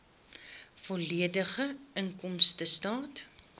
volledige inkomstestaat